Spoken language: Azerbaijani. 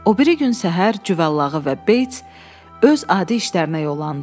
O biri gün səhər Cüvallağı və Beits öz adi işlərinə yollandılar.